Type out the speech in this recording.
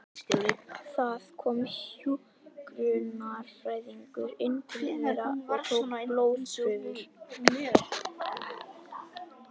Það kom hjúkrunarfræðingur inn til þeirra og tók blóðprufur.